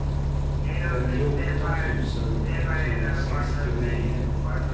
femtioåtta tusen etthundrasextionio